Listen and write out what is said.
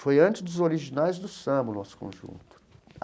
Foi antes dos Originais do Samba, o nosso conjunto.